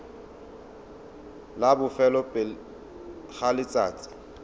la bofelo pele ga letsatsi